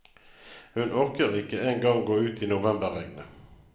Hun orker ikke engang gå ut i novemberregnet.